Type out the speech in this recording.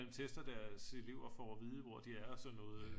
Tester deres elever for at vide hvor de er og sådan noget